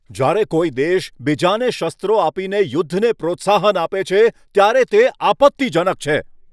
જ્યારે કોઈ દેશ બીજાને શસ્ત્રો આપીને યુદ્ધને પ્રોત્સાહન આપે છે, ત્યારે તે આપત્તિજનક છે.